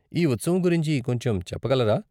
ఈ ఉత్సవం గురించి కొంచెం చెప్పగలరా?